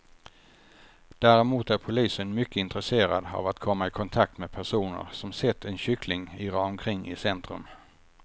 Däremot är polisen mycket intresserad av att komma i kontakt med personer som sett en kyckling irra omkring i centrum.